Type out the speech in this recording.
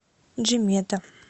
джимета